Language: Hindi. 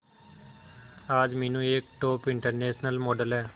आज मीनू एक टॉप इंटरनेशनल मॉडल है